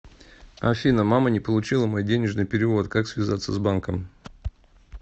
афина мама не получила мой денежный перевод как связаться с банком